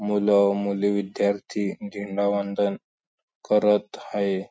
मुलं-मुली विद्यार्थी झेंडावंदन करत हाये.